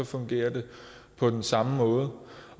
fungerer det på den samme måde